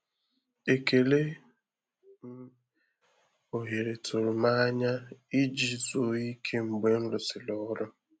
Ekele m ohere tụrụ m n’anya iji zuo íké mgbe nrụ sịrị ọrụ